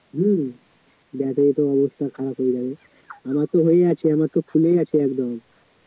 হম battery তো অবস্থা খারাপ হয়ে যাবে আমার তো হয়েই আছে আমার তো ফুলেই আছে একদম